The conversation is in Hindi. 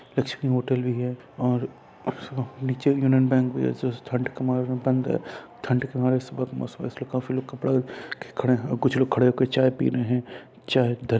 लक्ष्मी होटल भी है और उसमें नीचे यूनियन बैंक भी है| ठण्ड के मारे रूम बंद है| ठण्ड के मारे सुबह का मौसम है इसलिए काफी लोग कपड़ा खड़े हैं और कुछ लोग खड़े होके चाय पी रहे हैं| चाय--